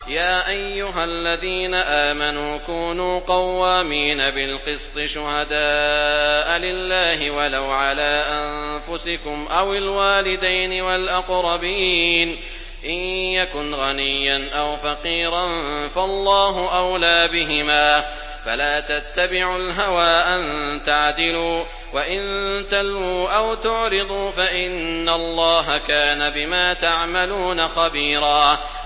۞ يَا أَيُّهَا الَّذِينَ آمَنُوا كُونُوا قَوَّامِينَ بِالْقِسْطِ شُهَدَاءَ لِلَّهِ وَلَوْ عَلَىٰ أَنفُسِكُمْ أَوِ الْوَالِدَيْنِ وَالْأَقْرَبِينَ ۚ إِن يَكُنْ غَنِيًّا أَوْ فَقِيرًا فَاللَّهُ أَوْلَىٰ بِهِمَا ۖ فَلَا تَتَّبِعُوا الْهَوَىٰ أَن تَعْدِلُوا ۚ وَإِن تَلْوُوا أَوْ تُعْرِضُوا فَإِنَّ اللَّهَ كَانَ بِمَا تَعْمَلُونَ خَبِيرًا